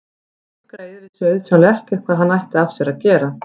Hundgreyið vissi auðsjáanlega ekkert hvað hann ætti af sér að gera.